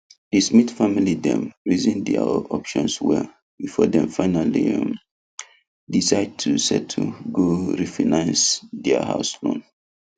the smith family dem reason their options well before dem finally um decide to settle go refinance their house loan